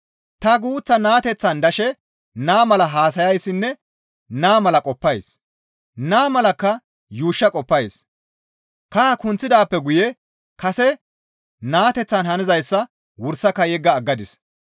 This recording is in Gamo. Ta guuththa naateteththan dashe naa mala haasayayssinne naa mala qoppays; naa malakka yuushsha qoppays; kaha kunththidaappe guye kase naateththan hanizayssa wursaka yegga aggadis.